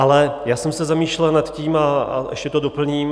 Ale já jsem se zamýšlel na tím - a ještě to doplním.